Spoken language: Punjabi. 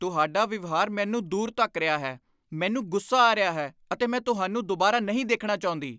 ਤੁਹਾਡਾ ਵਿਵਹਾਰ ਮੈਨੂੰ ਦੂਰ ਧੱਕ ਰਿਹਾ ਹੈ। ਮੈਨੂੰ ਗੁੱਸਾ ਆ ਰਿਹਾ ਹੈ ਅਤੇ ਮੈਂ ਤੁਹਾਨੂੰ ਦੁਬਾਰਾ, ਨਹੀਂ ਦੇਖਣਾ ਚਾਹੁੰਦੀ!